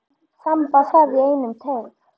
Þamba það í einum teyg.